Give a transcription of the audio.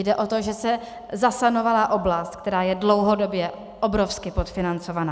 Jde o to, že se zasanovala oblast, která je dlouhodobě obrovsky podfinancovaná.